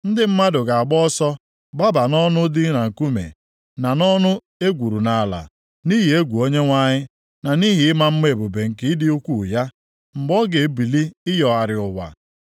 Ndị mmadụ ga-agba ọsọ gbaba nʼọnụ dị na nkume, na nʼọnụ e gwuru nʼala, nʼihi egwu Onyenwe anyị, na nʼihi ịma mma ebube nke ịdị ukwuu ya, mgbe ọ ga-ebili ịyọgharị ụwa.